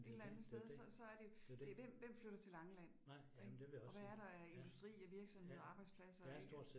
En eller andet sted så så er det jo det hvem hvem flytter til Langeland ik, og hvad er der af industri og virksomheder og arbejdspladser ik